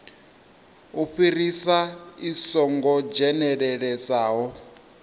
u fhirisa i songo dzhenelelesaho